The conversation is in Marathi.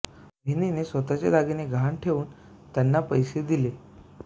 बहिणीने स्वतःचे दागिने गहाण ठेवून त्यांना पैसे दिले